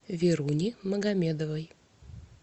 веруни магомедовой